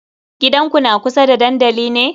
Gidanku na kusa da dandali ne?